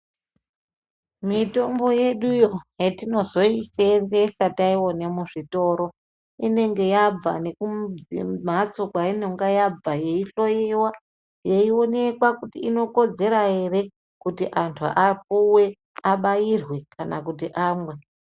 Mitombo yeduyo hetinozoisenzesa taione muzvitoro inenge yabva nekumhatso kweinenge yabva yeihloiwa yeionekwa kuti inokodzera ere kuti antuapuwe abairwe kana kuti amwe.